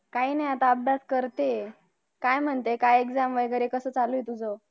काही नाही आता अभ्यास करते ए काय म्हणते काय Exam वगैरे कसे चालू ए तुझं